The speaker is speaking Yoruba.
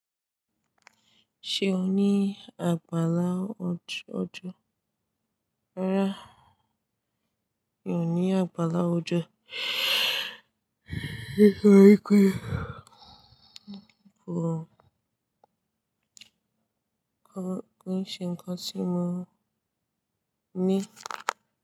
Ṣé o ní àgbàlá ọjọ́? Rárá mi ò ní àgbàlá ọjọ́ kí n ṣe ǹkan tí mò ń ní.